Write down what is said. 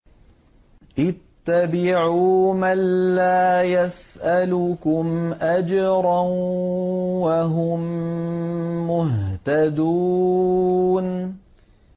اتَّبِعُوا مَن لَّا يَسْأَلُكُمْ أَجْرًا وَهُم مُّهْتَدُونَ